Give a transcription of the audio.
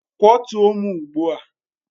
Kwọtụo m ugbu a!